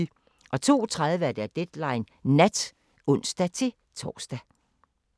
02:30: Deadline Nat (ons-tor)